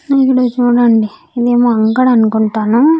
ఇక్కడ చూడండి ఇదేమో అంగడి అనుకుంటాను.